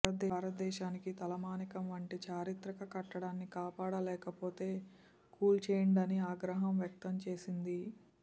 భారత దేశానికి తలమానికం వంటి చారిత్రక కట్టడాన్ని కాపాడలేకపోతే కూల్చేయండని ఆగ్రహం వ్యక్తం చేసింది